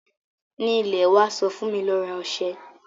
Ní ilẹ̀ wa sọ fún mi ló rà oṣẹ̀